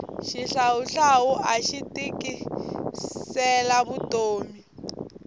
xihlawuhlawu axi tikisela vutomi